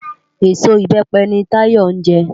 Ésó ibèpè ni Táyo njè